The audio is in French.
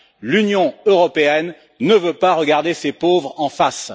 L'Union européenne ne veut pas regarder ses pauvres en face.